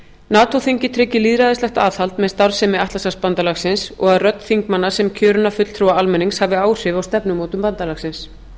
nato þingið tryggir lýðræðislegt aðhald með starfsemi atlantshafsbandalagsins og að rödd þingmanna sem kjörinna fulltrúa almennings hafi áhrif á stefnumótun bandalagsins